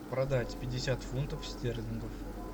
продать пятьдесят фунтов стерлингов